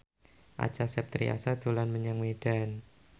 Acha Septriasa dolan menyang Medan